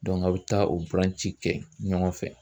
aw bɛ taa o buranci kɛ ɲɔgɔn fɛ.